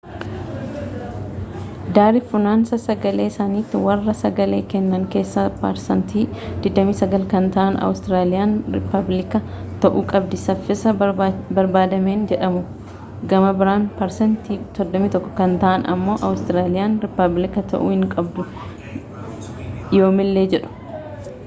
daari funaansa-sagalee sanatti warraa sagalee kennan keessa parsaantiin 29 kan ta'aan awuustiraliyaan riipabliika ta'uu qabdi safiisa barbaadameen jedhuu gama biraan parsaantii 31 kan ta'an ammo awuustiraliyaan riipablika ta'uu hin qabdu yoommilee jedhu